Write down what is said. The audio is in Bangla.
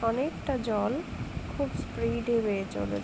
অনেকটা জল খুব স্পিড -এ বেয়ে চলে--